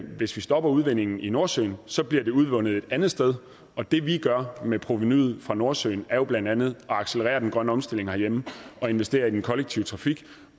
hvis vi stopper udvindingen i nordsøen så bliver det udvundet et andet sted og det vi gør med provenuet fra nordsøen er blandt andet at accelerere den grønne omstilling herhjemme og investere i den kollektive trafik